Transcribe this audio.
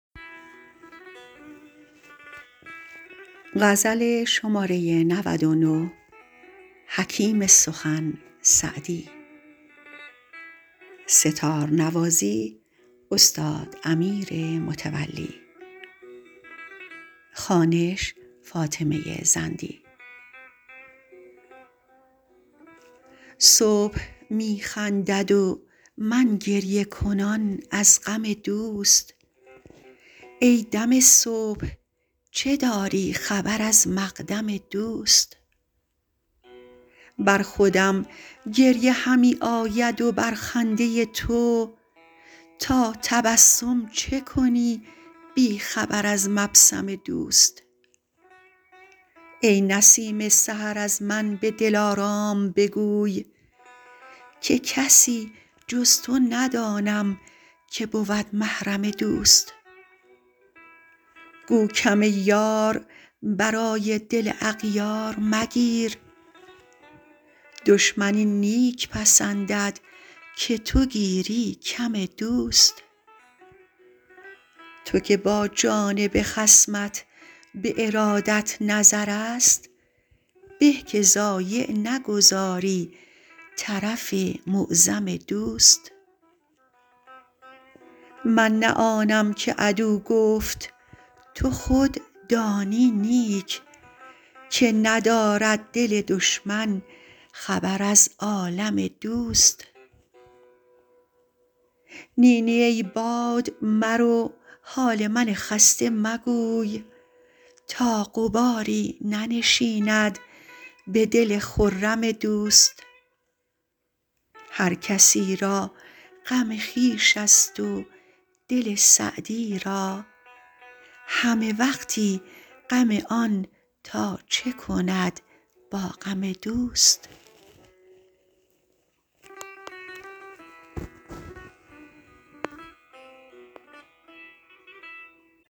صبح می خندد و من گریه کنان از غم دوست ای دم صبح چه داری خبر از مقدم دوست بر خودم گریه همی آید و بر خنده تو تا تبسم چه کنی بی خبر از مبسم دوست ای نسیم سحر از من به دلارام بگوی که کسی جز تو ندانم که بود محرم دوست گو کم یار برای دل اغیار مگیر دشمن این نیک پسندد که تو گیری کم دوست تو که با جانب خصمت به ارادت نظرست به که ضایع نگذاری طرف معظم دوست من نه آنم که عدو گفت تو خود دانی نیک که ندارد دل دشمن خبر از عالم دوست نی نی ای باد مرو حال من خسته مگوی تا غباری ننشیند به دل خرم دوست هر کسی را غم خویش ست و دل سعدی را همه وقتی غم آن تا چه کند با غم دوست